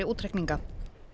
útreikninga